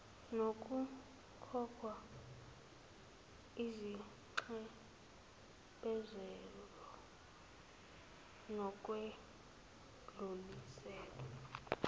nokukhokha izinxephezelo nokwedlulisela